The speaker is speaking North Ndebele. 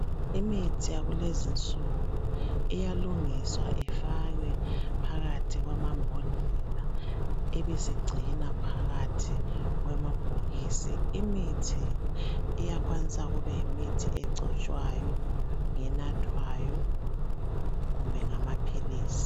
Imithi yakulezinsuku iyalungiswa ifakwe phakathi kwamambodlela, ibisigcinwa phakathi kwamabhokisi. Imithi iyakwanisa kube yimithi egcotshwayo, ngenathwayo, kumbe ngamaphilisi.